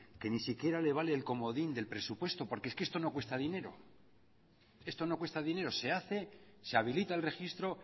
que ni siquiera le vale el comodín del presupuesto porque es que esto no cuesta dinero se hace se habilita el registro